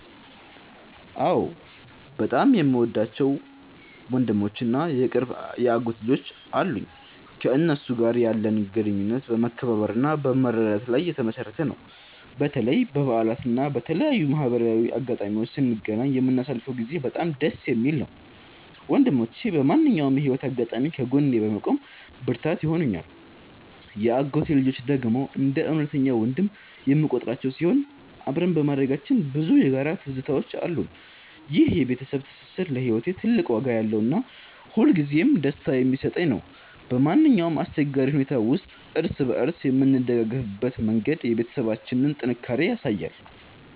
አዎ፣ በጣም የምወዳቸው ወንድሞች እና የቅርብ የአጎት ልጆች አሉኝ። ከእነሱ ጋር ያለን ግንኙነት በመከባበርና በመረዳዳት ላይ የተመሠረተ ነው። በተለይ በበዓላት እና በተለያዩ ማህበራዊ አጋጣሚዎች ስንገናኝ የምናሳልፈው ጊዜ በጣም ደስ የሚል ነው። ወንድሞቼ በማንኛውም የህይወት አጋጣሚ ከጎኔ በመቆም ብርታት ይሆኑኛል። የአጎቴ ልጆች ደግሞ እንደ እውነተኛ ወንድም የምቆጥራቸው ሲሆን፣ አብረን በማደጋችን ብዙ የጋራ ትዝታዎች አሉን። ይህ የቤተሰብ ትስስር ለህይወቴ ትልቅ ዋጋ ያለውና ሁልጊዜም ደስታን የሚሰጠኝ ነው። በማንኛውም አስቸጋሪ ሁኔታ ውስጥ እርስ በእርስ የምንደጋገፍበት መንገድ የቤተሰባችንን ጥንካሬ ያሳያል።